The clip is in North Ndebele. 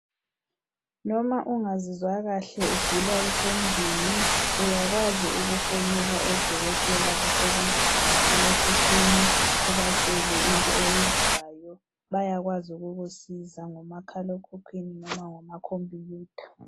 Noma ungazizwa kahle ugula usendlini uyakwazi ukufonela odokotela abasebenza ngomakhalekhukhwini ubatshele into oyizwayo bayakwazi ukukusiza ngomakhalekhukhwini noma ngamakhompuyutha.